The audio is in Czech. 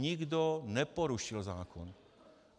Nikdo neporušil zákon.